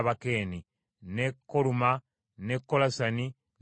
n’e Koluma, n’e Kolasani n’e Asaki;